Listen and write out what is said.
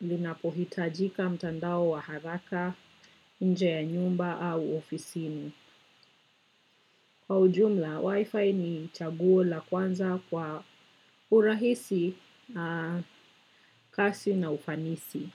linapohitajika mtandao wa haraka, nje ya nyumba au ofisini. Kwa ujumla, wifi ni chaguo la kwanza kwa urahisi, kasi na ufanisi.